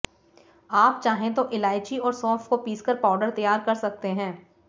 आप चाहें तो इलायची और सौंफ को पीसकर पाउडर तैयार कर सकते हैं